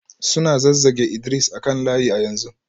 Suna zazzage Idris a kan layi a yanzu